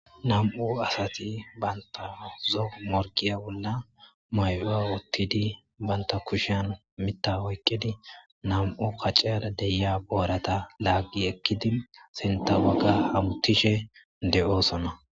Nammu' assathi bantta zoo morgiyya bolla mayo wothidi bantha kushiyan Mitha oyqidi nammu' kaciyrra de'yya boratta laggi ekkidi sintha bagara hamuthishe deo'ssonna.